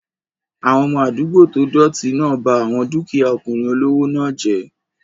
Àwọn ọmọ àdúgbò tó dọ̀ọ̀tì náà ba àwọn dúkìyá ọkùnrin olówó náà jẹ́